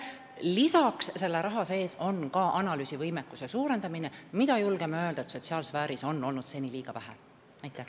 Lisaks on selle raha sees analüüsivõimekuse suurendamine – seda võimekust on, julgeme öelda, sotsiaalsfääris seni liiga vähe olnud.